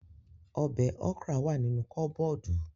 Ọbẹ̀ okra wà nínú kọ́bọ́ọ̀dù